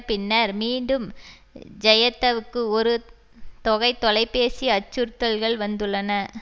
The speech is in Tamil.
பின்னர் மீண்டும் ஜய த்தவுக்கு ஒரு தொகை தொலை பேசி அச்சுறுத்தல்கள் வந்துள்ளன